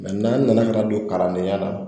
n'an nana ka na don kalandenya la